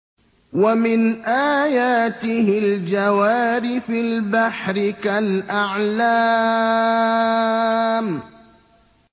وَمِنْ آيَاتِهِ الْجَوَارِ فِي الْبَحْرِ كَالْأَعْلَامِ